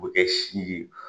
O tɛ si ye.